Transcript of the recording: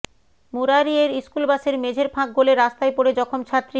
মুরারইয়ের স্কুলবাসের মেঝের ফাঁক গলে রাস্তায় পড়ে জখম ছাত্রী